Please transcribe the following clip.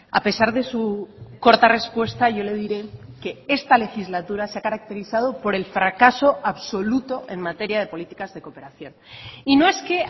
a pesar de su corta respuesta yo le diré que esta legislatura se ha caracterizado por el fracaso absoluto en materia de políticas de cooperación y no es que